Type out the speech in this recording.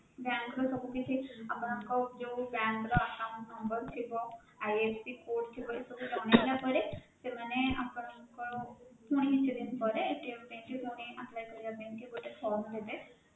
bank ର ସବୁ କିଛି ଆପଣଙ୍କର ଯୋଉ bank ର account number ଥିବ, IFSC code ଥିବ ଏସବୁ ଜଣେଇଲା ପରେ ସେମାନେ ଆପଣଙ୍କର ପୁଣି କିଛି ଦିନ ପରେ ପାଇଁ ପୁଣି apply କରିବା ପାଇଁ ଗୋଟେ form ଦେବେ